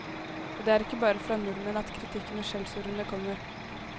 Og det er ikke bare fra nordmenn at kritikken og skjellsordene kommer.